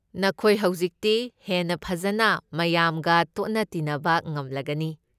ꯅꯈꯣꯏ ꯍꯧꯖꯤꯛꯇꯤ ꯍꯦꯟꯅ ꯐꯖꯅ ꯃꯌꯥꯝꯒ ꯇꯣꯠꯅ ꯇꯤꯟꯅꯕ ꯉꯝꯂꯒꯅꯤ꯫